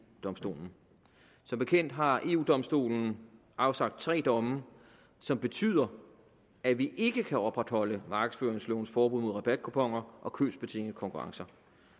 domstolen som bekendt har eu domstolen afsagt tre domme som betyder at vi ikke kan opretholde markedsføringslovens forbud mod rabatkuponer og købsbetingede konkurrencer